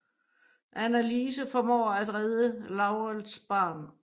Annalise formår at redde Laurels barn